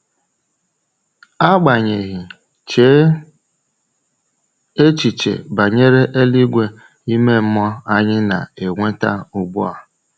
Agbanyeghị, chee echiche banyere eluigwe ime mmụọ anyị na-enweta ugbu a.